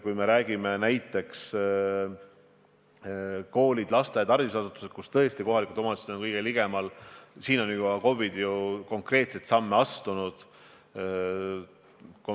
Kui me räägime koolidest, lasteaedadest ja muudest haridusasutustest, mille puhul tõesti kohalikud omavalitsused on kõige ligemal, siis selles osas on KOV-id juba konkreetseid samme astunud.